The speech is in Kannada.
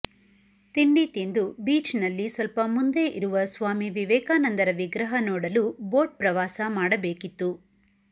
ತಿಂಡಿ ತಿಂದು ಬೀಚ್ನಲ್ಲಿ ಸ್ವಲ್ಪ ಮುಂದೆ ಇರುವ ಸ್ವಾಮಿ ವಿವೇಕಾನಂದರ ವಿಗ್ರಹ ನೋಡಲು ಬೋಟ್ ಪ್ರವಾಸ ಮಡಬೇಕಿತ್ತು